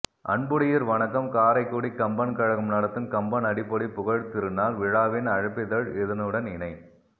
அன்புடையீர் வணக்கம் காரைக்குடி கம்பன் கழகம் நடத்தும் கம்பன் அடிப்பொடி புகழ்த்திருநாள் விழாவின் அழைப்பிதழ் இதனுடன் இணை